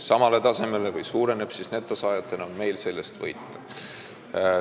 samale tasemele või suureneb, siis on meil sellest netosaajana võita.